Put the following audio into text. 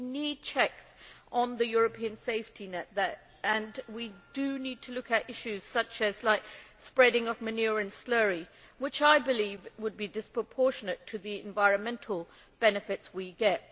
We need checks on the European safety net and we need to look at issues such as the spreading of manure and slurry which, I believe, would be disproportionate to the environmental benefits we get.